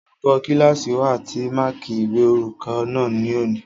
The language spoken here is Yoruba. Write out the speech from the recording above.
Olùkọ́ kílásì wa ti máàkí ìwé orúkọ náà ní òní